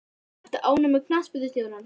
Ertu ánægð með knattspyrnustjórann?